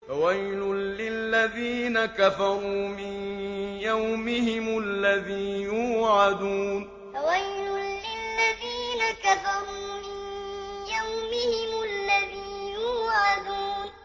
فَوَيْلٌ لِّلَّذِينَ كَفَرُوا مِن يَوْمِهِمُ الَّذِي يُوعَدُونَ فَوَيْلٌ لِّلَّذِينَ كَفَرُوا مِن يَوْمِهِمُ الَّذِي يُوعَدُونَ